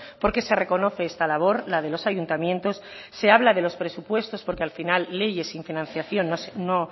porque se reconoce esta labor la de los ayuntamientos se habla de los presupuestos porque al final leyes sin financiación no